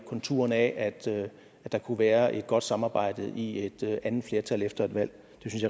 konturerne af at der kunne være et godt samarbejde i et andet flertal efter et valg